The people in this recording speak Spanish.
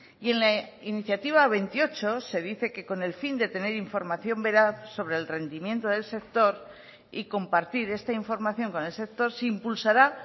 y en la iniciativa veintiocho se dice que con el fin de tener información veraz sobre el rendimiento del sector y compartir esta información con el sector se impulsará